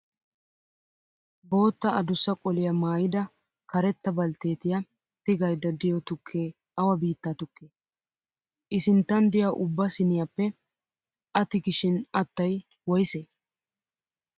Boottaa adussa qoliyaa maayyida karetta baltteetiyaa tigayidda diyoo tukkee awa biittaa tukkee? I sinttan diya ubba siinniyaappe A tugishin attayi woyisee?